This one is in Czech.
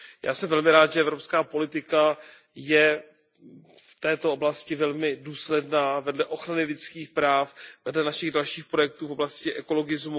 Já jsem velmi rád, že evropská politika je v této oblasti velmi důsledná, vedle ochrany lidských práv, vedle dalších našich projektů v oblasti ekologie.